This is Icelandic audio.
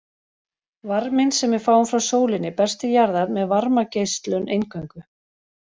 Varminn sem við fáum frá sólinni berst til jarðar með varmageislun eingöngu.